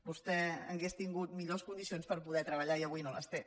vostè hauria tingut millors condicions per poder treballar i avui no les té